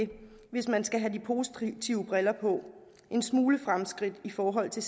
hvis man skal have de positive briller på en smule fremskridt i forhold til